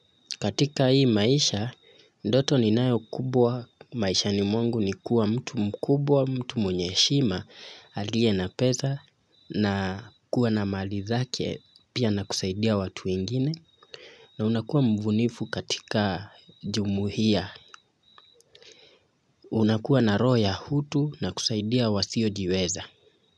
Katika hii maisha, ndoto ninayo kubwa, maishani mwangu ni kuwa mtu mkubwa, mtu mwenye heshima, aliye na pesa, na kuwa na mali zake, pia na kusaidia watu ingine, na unakuwa mbunifu katika jumuhia, unakuwa na roho ya utu, na kusaidia wasio jiweza.